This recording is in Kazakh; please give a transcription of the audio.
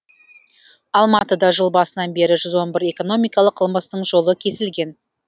алматыда жыл басынан бері жүз он бір экономикалық қылмыстың жолы кесілген